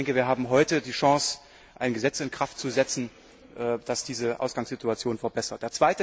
Wir haben heute die Chance, ein Gesetz in Kraft zu setzen, das diese Ausgangssituation verbessert.